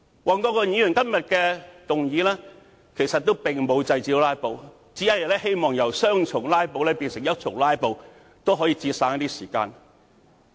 黃國健議員今天提出的議案並沒有制止"拉布"，只是希望由雙重"拉布"變成單重"拉布"，盡量節省一些時間。